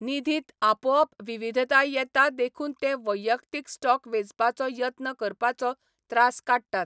निधींत आपोआप विविधताय येता देखून ते वैयक्तीक स्टॉक वेंचपाचो यत्न करपाचो त्रास काडटात.